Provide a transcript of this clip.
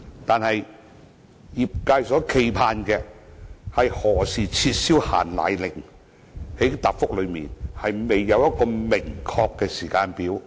可是，業界所冀盼的，是何時撤銷"限奶令"，在主體答覆中卻未有一個明確的時間表。